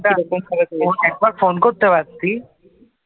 একবার ফোন করতে পারতি